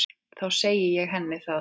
Þá segi ég henni það.